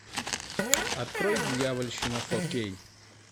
открой дьявольщина фо кей